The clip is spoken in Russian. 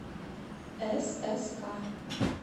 сск